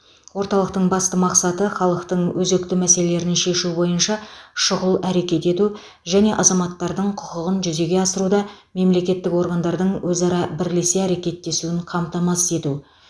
орталықтың басты мақсаты халықтың өзекті мәселелерін шешу бойынша шұғыл әрекет ету және азаматтардың құқығын жүзеге асыруда мемлекеттік органдардың өзара бірлесе әрекеттесуін қамтамасыз ету